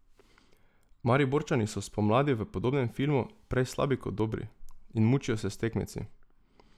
Mariborčani so spomladi v podobnem filmu, prej slabi kot dobri, in mučijo se s tekmeci.